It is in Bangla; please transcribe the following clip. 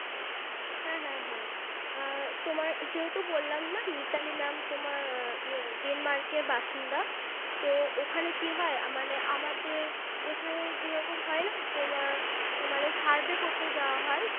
হ্যাঁ হ্যাঁ হ্যাঁ আর তোমার যেহেতু বললাম না Mitali Mam তোমার ইয়ে Denmark এর বাসিন্দা তো ওখানে কি হয় মানে আমাদের এখানে যেরকম হয়না মানে তোমার Survey করতে যাওয়া হয়